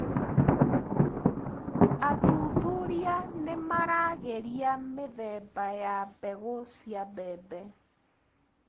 Athuthuria nĩmaragĩria mĩthemba ya mbegũ cia mbembe.